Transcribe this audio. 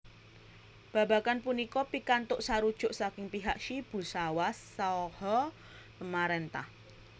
Babagan punika pikantuk sarujuk saking pihak Shibusawa saha pamarentah